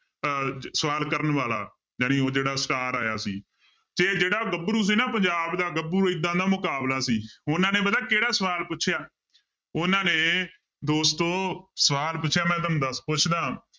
ਅਹ ਸਵਾਲ ਕਰਨ ਵਾਲਾ ਜਾਣੀ ਉਹ ਜਿਹੜਾ star ਆਇਆ ਸੀ ਤੇ ਜਿਹੜਾ ਗੱਭਰੂ ਸੀ ਨਾ ਪੰਜਾਬ ਦਾ ਗੱਭਰੂ ਏਦਾਂ ਦਾ ਮੁਕਾਬਲਾ ਸੀ ਉਹਨਾਂ ਨੇ ਪਤਾ ਕਿਹੜਾ ਸਵਾਲ ਪੁੱਛਿਆ, ਉਹਨਾਂ ਨੇ ਦੋਸਤੋ ਸਵਾਲ ਪੁੱਛਿਆ ਮੈਂ ਤੁਹਾਨੂੰ ਦੱਸ, ਪੁੱਛਦਾਂ